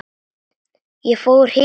Ég fór hikandi inn.